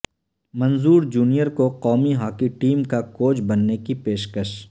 منظور junior کو قومی hockey team کا کوچ بننے کی پیشکش